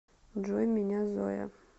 джой меня зоя